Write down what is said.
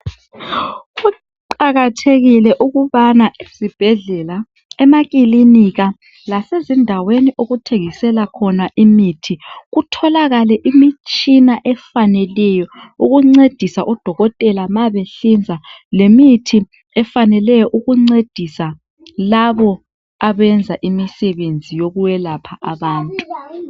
Kuqakathekile ukubana ezibhedlela lase maklinika endaweni okuthengiselwa khona imithi kutholakale imitshina efaneleyo ukubcedisa odokotela nxa behlinza lemithi efaneleyo ukuncedisa laba abenza imisebenzi yokwelapha abantu